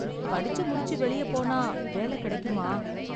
படிச்சு முடிச்சு வெளிய போன வேல கிடைக்குமா?